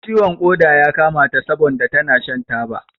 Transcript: Ciwon ƙoda ya kama ta sabon da tana shan taba.